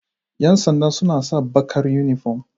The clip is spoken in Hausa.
Yan sanda suna sa bakar uniform.